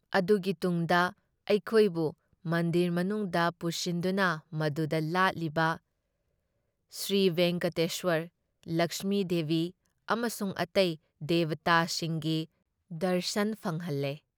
ꯑꯗꯨꯒꯤ ꯇꯨꯡꯗ ꯑꯩꯈꯣꯏꯕꯨ ꯃꯟꯗꯤꯔ ꯃꯅꯨꯡꯗ ꯄꯨꯁꯤꯟꯗꯨꯅ ꯃꯗꯨꯗ ꯂꯥꯠꯂꯤꯕ ꯁ꯭ꯔꯤꯚꯦꯡꯀꯇꯦꯁ꯭ꯋꯔ, ꯂꯛꯁꯃꯤꯗꯦꯕꯤ ꯑꯃꯁꯨꯡ ꯑꯇꯩ ꯗꯦꯕꯇꯥꯁꯤꯡꯒꯤ ꯗꯔꯁꯟ ꯐꯪꯍꯜꯂꯦ ꯫